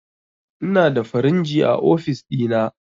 Inada firinji a ofis ɗina